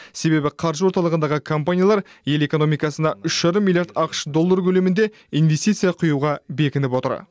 себебі қаржы орталығындағы компаниялар ел экономикасына үш жарым миллиард ақш доллары көлемінде инвестиция құюға бекініп отыр